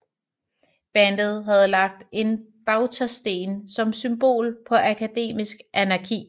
Bandet havde lagt en bautasten som symbol på akademisk anarki